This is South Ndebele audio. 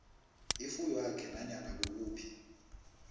ifuywakhe nanyana kukuphi